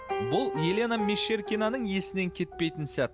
бұл елена мещеркинаның есінен кетпейтін сәт